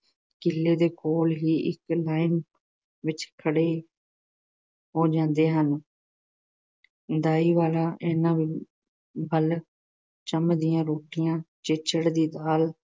ਕੀਲੇ ਦੇ ਕੋਲ ਹੀ ਇੱਕ ਲਾਈਨ ਵਿੱਚ ਖੜੇ ਹੋ ਜਾਂਦੇ ਹਨ। ਦਾਈ ਵਾਲਾ ਇਹਨਾਂ ਵੱਲ ‘ਚੰਮ ਦੀਆਂ ਰੋਟੀਆਂ, ਚਿੱਚੜਾਂ ਦੀ ਦਾਲ,